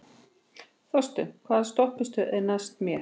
Þorsteinn, hvaða stoppistöð er næst mér?